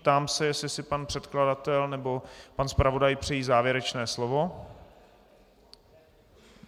Ptám se, jestli si pan předkladatel nebo pan zpravodaj přejí závěrečné slovo.